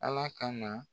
Ala ka na